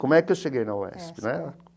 Como é que eu cheguei na UESP né?